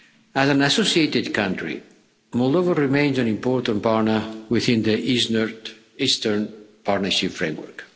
As an associated country, Moldova remains an important partner within the Eastern Partnership Framework.